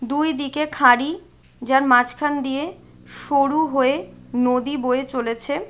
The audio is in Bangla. দুই দিকে খারি যার মাঝখান দিয়ে সরু হয়ে নদী বয়ে চলেছে।